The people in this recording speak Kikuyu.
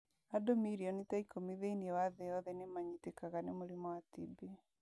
Andũ milioni ta ikumi thĩinĩ wa thĩ yothe nĩ manyitĩkaga nĩ mũrimũ wa TB.